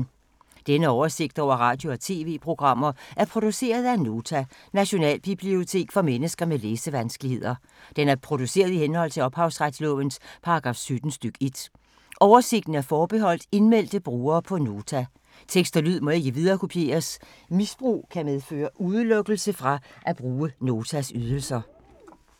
Denne oversigt over radio og TV-programmer er produceret af Nota, Nationalbibliotek for mennesker med læsevanskeligheder. Den er produceret i henhold til ophavsretslovens paragraf 17 stk. 1. Oversigten er forbeholdt indmeldte brugere på Nota. Tekst og lyd må ikke viderekopieres. Misbrug kan medføre udelukkelse fra at bruge Notas ydelser.